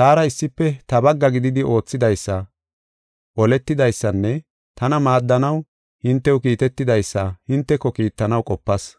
taara issife ta bagga gididi oothidaysa, oletidaysanne, tana maaddanaw hintew kiitetidaysa, hinteko kiittanaw qopas.